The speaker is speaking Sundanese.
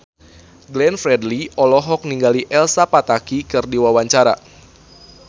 Glenn Fredly olohok ningali Elsa Pataky keur diwawancara